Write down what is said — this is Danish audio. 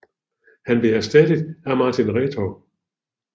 Han blev erstattet af Martin Retov